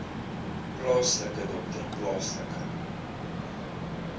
plaaslike dokter plaaslike